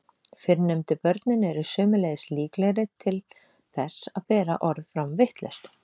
Fyrrnefndu börnin eru sömuleiðis líklegri til þess að bera orð fram vitlaust.